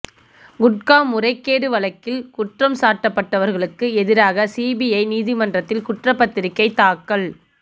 குட்கா முறைகேடு வழக்கில் குற்றம் சாட்டப்பட்டவர்களுக்கு எதிராக சிபிஐ நீதிமன்றத்தில் குற்றப்பத்திரிக்கை தாக்கல்